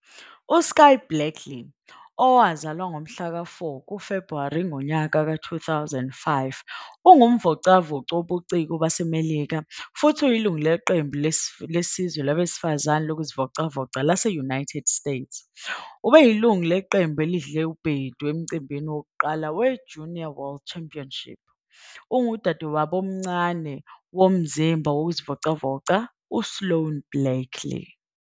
USkye Blakely, owazalwa ngoFebhuwari 4, 2005, ungumvocavoci wobuciko waseMelika futhi uyilungu leqembu lesizwe labesifazane lokuzivocavoca lase -United States. Ubeyilungu leqembu elidle ubhedu emcimbini wokuqala weJunior World Championship. Ungudadewabo omncane womzimba wokuzivocavoca uSloane Blakely.